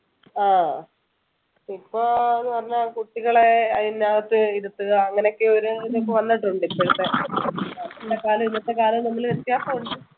ആഹ് ഇപ്പൊ എന്ന് പറഞ്ഞാൽ കുട്ടികൾ അതിനകത്ത് ഇരുത്തുക അങ്ങനെയൊക്കെ ഒരു വന്നിട്ടുണ്ട് ഇപ്പോഴത്തെ ഇന്നത്തെ കാലം വ്യത്യാസമുണ്ട്